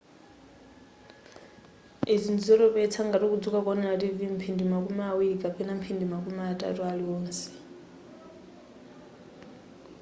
izi ndizotopetsa ngati uzidzuka kuwonera tv mphindi makumi awiri kapena mphindi makumi atatu aliwonse